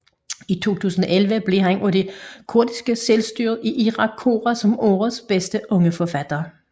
I 2011 blev han af det kurdiske selvstyre i Irak kåret som årets bedste unge forfatter